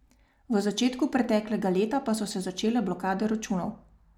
V začetku preteklega leta pa so se začele blokade računov.